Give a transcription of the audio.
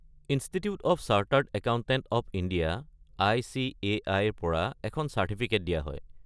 Institute of chartered accountant of India (আই.চি.এ.আই.)-ৰ পৰা এখন চাৰ্টিফিকেট দিয়া হয়।